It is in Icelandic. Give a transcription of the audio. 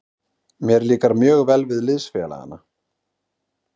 Mér líkar mjög vel við liðsfélagana.